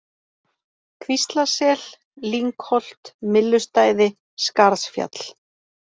Kvíslasel, Lyngholt, Myllustæði, Skarðsfjall